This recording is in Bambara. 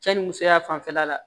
Cɛ ni musoya fanfɛla la